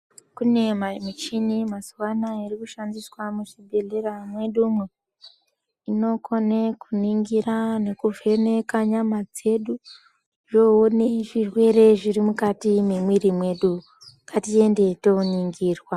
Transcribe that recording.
Kune mamichini yemazuwa anaya iri kushandiswa muzvibhedhlera mwedumwo. Inokone kuningira nekuvheneka nyama dzedu, zvoone zvirwere zviri mukati mwemwiri mwedu. Ngatiende tooningirwa.